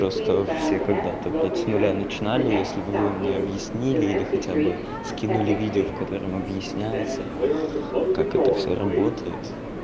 просто все когда-то блять с нуля начинали если бы вы мне объяснили или хотя бы скинули видео в котором объясняется как это всё работает